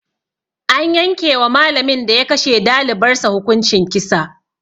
An yankewa malamin da ya kashe dalibar sa hukuncin kisa